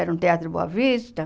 Era um teatro Boa Vista.